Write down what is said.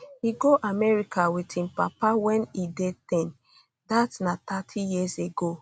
e go america wit um im papa wen e dey ten dat na thirty years ago